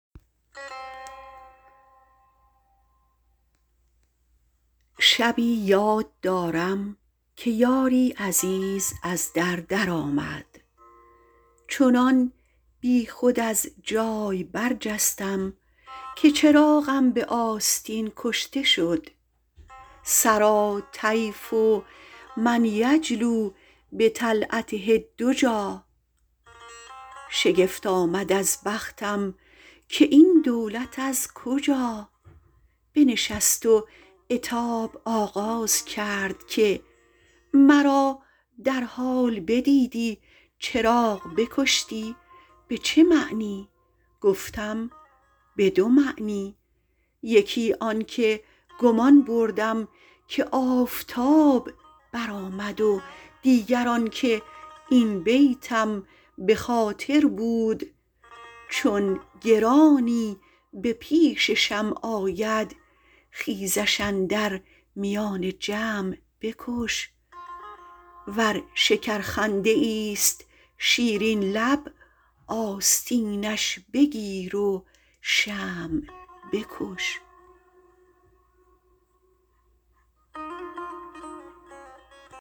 شبی یاد دارم که یاری عزیز از در در آمد چنان بیخود از جای برجستم که چراغم به آستین کشته شد سریٰ طیف من یجلو بطلعته الدجیٰ شگفت آمد از بختم که این دولت از کجا بنشست و عتاب آغاز کرد که مرا در حال بدیدی چراغ بکشتی به چه معنی گفتم به دو معنی یکی آن که گمان بردم که آفتاب برآمد و دیگر آن که این بیتم به خاطر بود چون گرانی به پیش شمع آید خیزش اندر میان جمع بکش ور شکرخنده ایست شیرین لب آستینش بگیر و شمع بکش